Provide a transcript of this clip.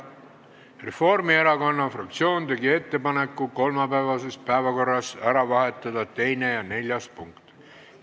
Reformierakonna fraktsioon tegi ettepaneku kolmapäevases päevakorras ära vahetada 2. ja 4. punkt.